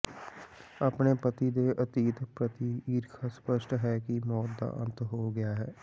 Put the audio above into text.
ਆਪਣੇ ਪਤੀ ਦੇ ਅਤੀਤ ਪ੍ਰਤੀ ਈਰਖਾ ਸਪੱਸ਼ਟ ਹੈ ਕਿ ਮੌਤ ਦਾ ਅੰਤ ਹੋ ਗਿਆ ਹੈ